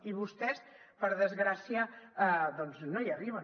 i vostès per desgràcia doncs no hi arriben